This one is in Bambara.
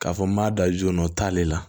K'a fɔ n m'a da jɔ o t'ale la